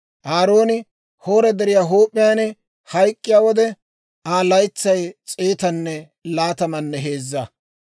Aarooni Hoora Deriyaa huup'iyaan hayk'k'iyaa wode, Aa laytsay s'eetanne laatammanne heezza.